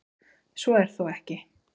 Svo er þó ekki.